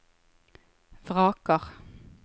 vraker